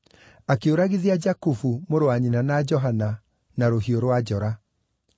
Akĩũragithia Jakubu, mũrũ wa nyina na Johana na rũhiũ rwa njora.